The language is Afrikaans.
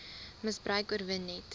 misbruik oorwin net